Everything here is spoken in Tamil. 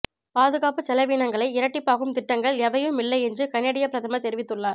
பாதுகாப்புச் செலவீனங்களை இரட்டிப்பாக்கும் திட்டங்கள் எவையும் இல்லை என்று கனேடிய பிரதமர் தெரிவித்துள்ளார்